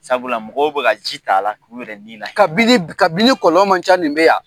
Sabula mɔgɔw bɛ ka ji t'a la, k'u yɛrɛ ni lahinɛ . Kabini kabini kɔlɔn ma ca nin bɛ yan